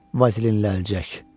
Vazilinlənəcək.